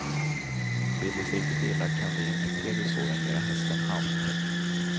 Vill det sig riktigt illa kan de infekterade såren göra hästen halt.